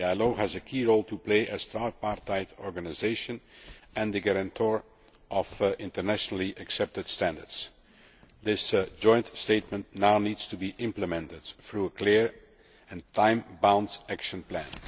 The ILO has a key role to play as a tripartite organisation and the guarantor of internationally accepted standards. This Joint Statement now needs to be implemented through a clear and time bound action plan.